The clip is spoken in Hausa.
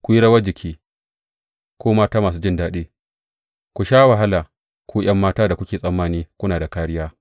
Ku yi rawar jiki, ku mata masu jin daɗi, ku sha wahala, ku ’yan matan da kuke tsammani kuna da kāriya!